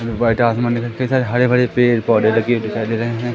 कई सारे हरे भरे पेड़ पौधे लगे हुए दिखाई दे रहे हैं।